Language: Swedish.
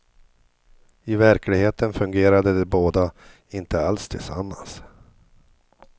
I verkligheten fungerade de båda inte alls tillsammans.